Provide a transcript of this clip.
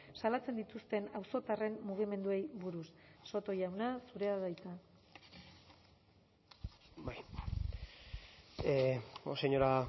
salatzen dituzten auzotarren mugimenduei buruz soto jauna zurea da hitza señora